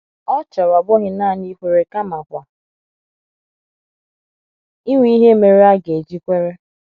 Ọ chọrọ ọ bụghị nanị ikwere kamakwa inwe ihe mere a ga - eji kwere.